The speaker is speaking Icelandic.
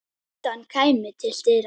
Kjartan kæmi til dyra.